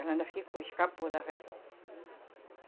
Ela ainda ficou, escapou da febre.